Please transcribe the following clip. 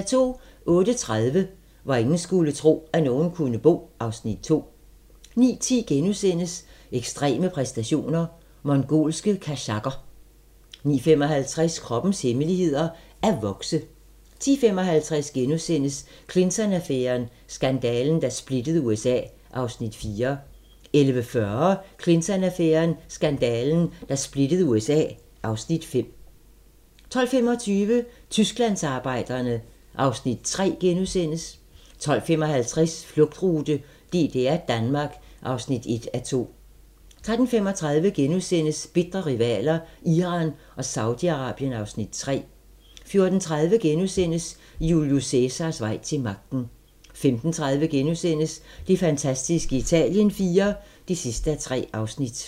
08:30: Hvor ingen skulle tro, at nogen kunne bo (Afs. 2) 09:10: Ekstreme præstationer: Mongolske kazakher * 09:55: Kroppens hemmeligheder: At vokse 10:55: Clinton-affæren: Skandalen, der splittede USA (Afs. 4)* 11:40: Clinton-affæren: Skandalen, der splittede USA (Afs. 5) 12:25: Tysklandsarbejderne (Afs. 3)* 12:55: Flugtrute: DDR-Danmark (1:2) 13:35: Bitre rivaler: Iran og Saudi-Arabien (Afs. 3)* 14:30: Julius Cæsars vej til magten * 15:30: Det fantastiske Italien IV (3:3)*